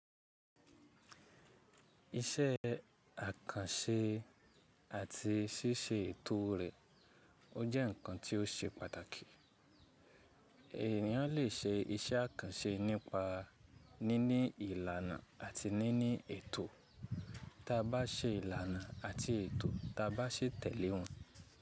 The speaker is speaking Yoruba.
Iṣẹ́ àkànṣe àti ṣíṣe ètò rẹ̀ ó jẹ́ ǹkan tí ó ṣe pàtàkì. Ènìyàn lè ṣe iṣẹ́ àkànṣe nípa níní ìlànà àti níní ètò ta bá ṣe ìlànà àti ètò ta bá ṣe tẹ̀lé wọ́n.